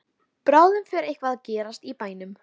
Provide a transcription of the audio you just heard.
Bráðum fer eitthvað að gerast í bænum.